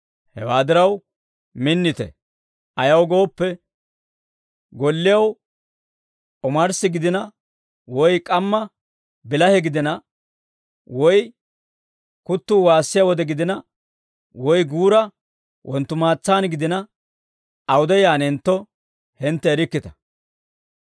Hewaa diraw, minnite; ayaw gooppe, golliyaw omarssa gidina, woy k'amma bilahe gidina, woy kuttuu waassiyaa wode gidina, woy guura wonttumaatsaan gidina awude yaanentto, hintte erikkita.